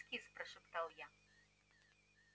кис-кис-кис прошептал я